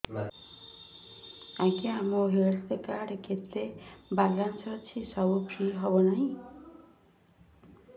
ଆଜ୍ଞା ମୋ health card ରେ କେତେ ବାଲାନ୍ସ ଅଛି ସବୁ ଫ୍ରି ହବ ନାଁ